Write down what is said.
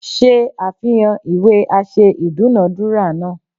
Ṣe àfihàn ìwé aṣẹ idunadura náà.!